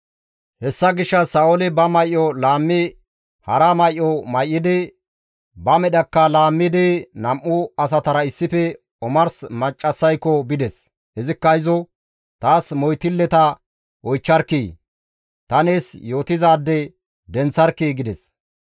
Hessa gishshas Sa7ooli ba may7o laammi hara may7o may7idi, ba medhakka laammidi nam7u asatara issife omars maccassayko bides; izikka izo, «Taas moytilleta oychcharkkii; ta nees yootizaade denththarkkii» gides.